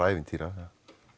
ævintýra